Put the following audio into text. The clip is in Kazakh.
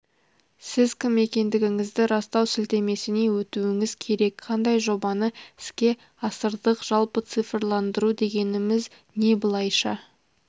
сіз кім екендігіңізді растау сілтемесіне өтуіңіз керек қандай жобаны іске асырдық жалпы цифрландыру дегеніміз не былайша